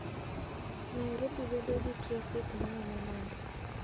nairobi bedo gi trafik maomo nade?